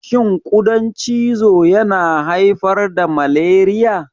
Shin ƙudan cizo yana haifar da malariya?